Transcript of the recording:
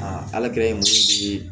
ala kɛlen